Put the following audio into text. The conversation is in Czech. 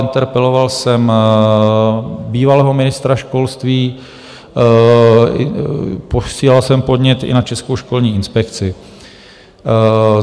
Interpeloval jsem bývalého ministra školství, posílal jsem podnět i na Českou školní inspekci.